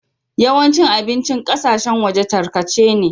Yawancin abincin ƙasashen waje takarce ne.